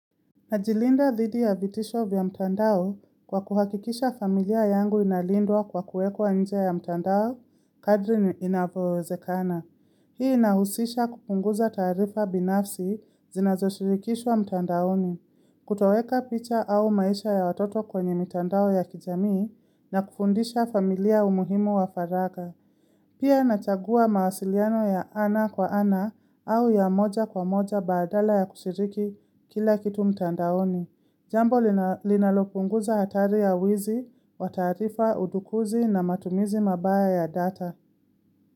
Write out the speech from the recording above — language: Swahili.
Najilinda dhidi ya vitisho vya mtandao kwa kuhakikisha familia yangu inalindwa kwa kuwekwa nje ya mtandao, kadri inavyowezekana. Hii inahusisha kupunguza tarifa binafsi zinazoshirikishwa mtandaoni, kutoweka picha au maisha ya watoto kwenye mtandao ya kijamii na kufundisha familia umuhimo wa faraga. Pia nachagua mawasiliano ya ana kwa ana au ya moja kwa moja badala ya kushiriki kila kitu mtandaoni. Jambo linalopunguza hatari ya wizi, wataarifa, udukuzi na matumizi mabaya ya data.